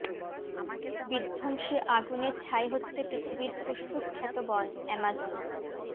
বিধ্বংসী আগুনে ছাই হচ্ছে পৃথিবীর ফুসফুস খ্যাত বন অ্যামাজন